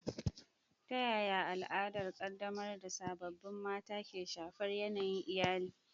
Ta yaya al'adar ƙaddamar da sababbin mata ke shafar yanayin iyali?